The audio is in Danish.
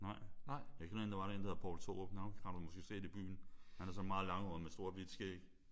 Nej. Jeg kender en der var der. En der hedder Poul Thorup. Ham har du måske set i byen. Han er sådan meget langhåret med stort hvidt skæg